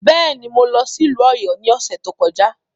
Bẹ́ẹ̀ ni, mo lọ sí ìlú Ọ̀yọ́ ní ọ̀sẹ̀ tó kọjá.